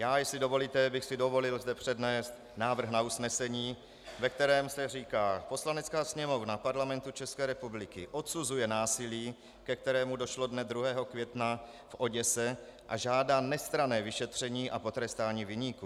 Já, jestli dovolíte, bych si dovolil zde přednést návrh na usnesení, ve kterém se říká: "Poslanecká sněmovna Parlamentu České republiky odsuzuje násilí, ke kterému došlo dne 2. května v Oděse, a žádá nestranné vyšetření a potrestání viníků.